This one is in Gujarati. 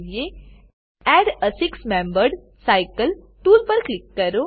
add a six membered cycle add a six membered cycle tool પર ક્લિક કરો